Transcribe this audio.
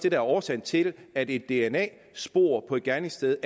er årsagen til at et dna spor på et gerningssted